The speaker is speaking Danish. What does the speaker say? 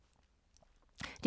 DR K